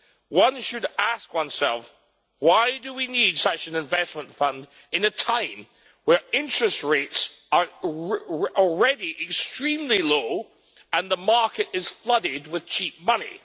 One should ask oneself why do we need such an investment fund at a time when interest rates are already extremely low and the market is flooded with cheap money?